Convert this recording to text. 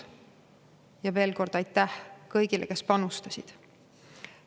Ja veel kord aitäh kõigile, kes selleks panustasid!